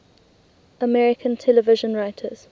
american television writers